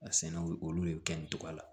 A sɛnɛw olu de bɛ kɛ nin cogoya la